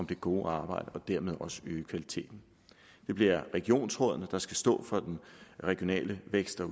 det gode arbejde og dermed også øge kvaliteten det bliver regionsrådene der skal stå for den regionale vækst og